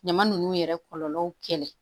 Ɲama nunnu yɛrɛ kɔlɔlɔw kɛlɛ